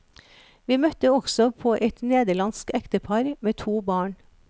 Vi møtte også på et nederlandsk ektepar med to barn.